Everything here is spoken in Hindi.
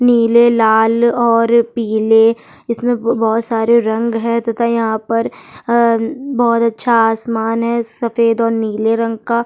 नीले लाल और पिले इसमें बहुत सारे रंग है तथा यहाँ पर अ बहुत अच्छा आसमान है सफ़ेद और नीले रंग का --